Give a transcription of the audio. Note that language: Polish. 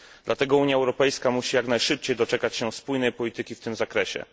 Dlatego Unia Europejska musi jak najszybciej doczekać się spójnej polityki w tym zakresie.